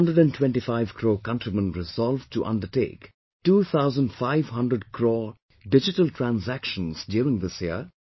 Can 125 crore countrymen resolve to undertake 2500 crores digital transactions during this year